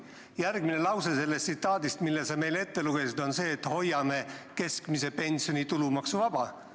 Järgmine lause sellest tsitaadist, mille sa meile ette lugesid, on see, et hoiame keskmise pensioni tulumaksuvaba.